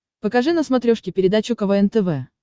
покажи на смотрешке передачу квн тв